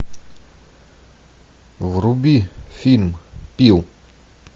вруби фильм пил